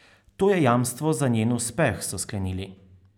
To je jamstvo za njen uspeh, so sklenili.